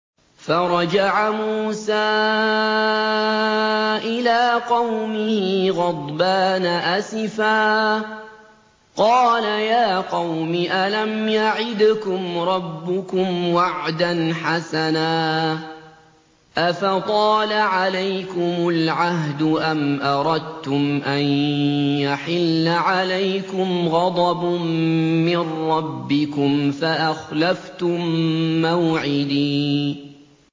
فَرَجَعَ مُوسَىٰ إِلَىٰ قَوْمِهِ غَضْبَانَ أَسِفًا ۚ قَالَ يَا قَوْمِ أَلَمْ يَعِدْكُمْ رَبُّكُمْ وَعْدًا حَسَنًا ۚ أَفَطَالَ عَلَيْكُمُ الْعَهْدُ أَمْ أَرَدتُّمْ أَن يَحِلَّ عَلَيْكُمْ غَضَبٌ مِّن رَّبِّكُمْ فَأَخْلَفْتُم مَّوْعِدِي